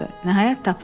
Nəhayət tapdı.